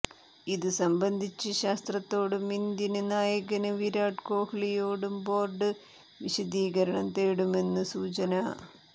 ഇതു സംബന്ധിച്ച് ശാസ്ത്രയോടും ഇന്ത്യന് നായകന് വിരാട് കോഹ്ലിയോടും ബോര്ഡ് വിശദീകരണം തേടുമെന്നു സൂചന